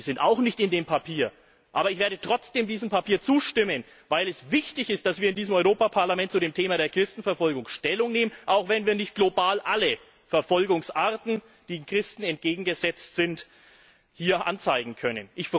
Die sind auch nicht in dem Papier. Aber ich werde trotzdem diesem Papier zustimmen, weil es wichtig ist, dass wir in diesem Europäischen Parlament zu dem Thema der Christenverfolgung Stellung nehmen, auch wenn wir nicht global alle Verfolgungsarten, die sich gegen Christen richten, hier anzeigen können.